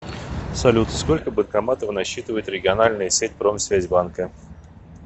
салют сколько банкоматов насчитывает региональная сеть промсвязьбанка